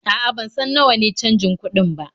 A'a, ban san nawa ne canjin kuɗin ba.